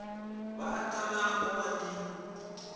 va tala ku va ni